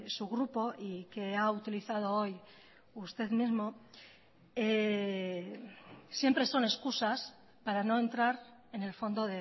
su grupo y que ha utilizado hoy usted mismo siempre son excusas para no entrar en el fondo